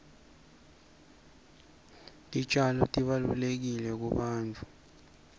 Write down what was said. titjalo tibalulekile kubantfu